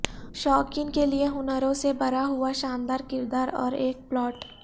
شائقین کے لئے ہنروں سے بھرا ہوا شاندار کردار اور ایک پلاٹ